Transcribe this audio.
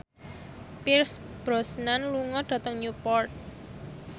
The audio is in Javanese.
Pierce Brosnan lunga dhateng Newport